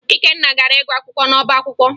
Ikenna gara ịgụ akwụkwọ n'ọbaakwụkwọ